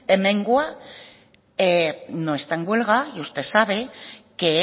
hemengoa no está en huelga y usted sabe que